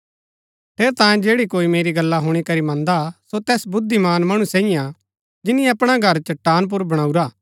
ठेरैतांये जैडा कोई मेरी गल्ला हुणी करी मन्दा सो तैस बुद्धिमान मणु सैईऐ हा जिनी अपणा घर चट्टान पुर बणाऊरा